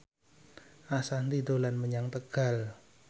Ashanti dolan menyang Tegal